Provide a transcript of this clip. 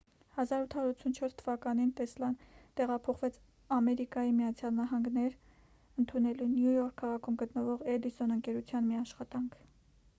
1884 թվականին տեսլան տեղափոխվեց ամերիկայի միացյալ նահանգներ ընդունելու նյու յորք քաղաքում գտնվող էդիսոն ընկերության մի աշխատանք